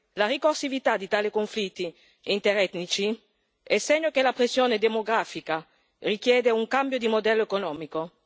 La ricorsività di tali conflitti interetnici è segno che la pressione demografica richiede un cambio di modello economico.